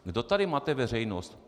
Kdo tady mate veřejnost?